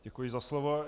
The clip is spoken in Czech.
Děkuji za slovo.